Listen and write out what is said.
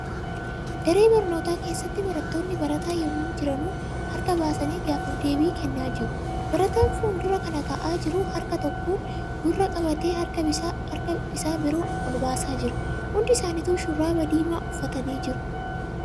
Daree barnootaa keessatti barattoonni barataa yemmuu jiranuu harka baasanii gaaffiif deebii kennaa jiru. Barataan fuuldura kana taa'aa jiru harka tokkoon gurra qabatee harka isaa biroo ol baasaa jira. Hundi isaanitu shurraaba diimaa uffatanii jiru.